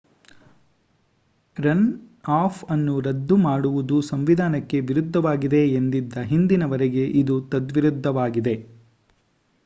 runoff ಅನ್ನು ರದ್ದು ಮಾಡುವುದು ಸಂವಿಧಾನಕ್ಕೆ ವಿರುದ್ಧವಾಗಿದೆ ಎಂದಿದ್ದ ಹಿಂದಿನ ವರದಿಗೆ ಇದು ತದ್ವಿರುದ್ದವಾಗಿದೆ